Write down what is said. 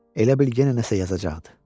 elə bil yenə nəsə yazacaqdı.